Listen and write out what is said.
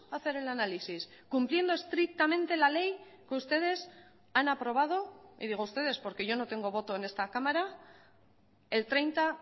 hacer el análisis cumpliendo estrictamente la ley que ustedes han aprobado y digo ustedes porque yo no tengo voto en esta cámara el treinta